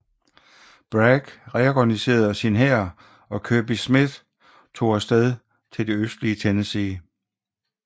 Bragg reorganiserede sin hær og Kirby Smith tog afsed til det østlige Tennessee